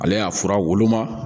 Ale y'a fura woloma